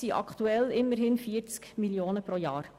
Aktuell betragen diese immerhin 40 Mio. Franken pro Jahr.